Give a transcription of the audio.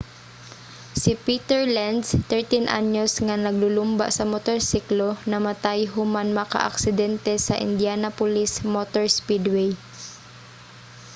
si peter lenz 13-anyos nga maglulumba sa motorsiklo namatay human makaaksidente sa indianapolis motor speedway